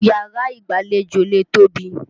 Yàrá ìgbàlejò lè tóbi.